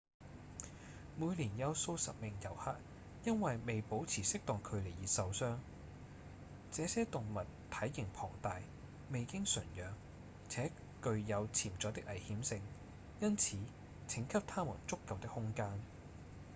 每年有數十名遊客因為未保持適當距離而受傷這些動物體型龐大、未經馴養且具有潛在的危險性因此請給牠們足夠的空間